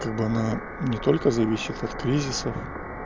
как бы она не только зависит от кризисов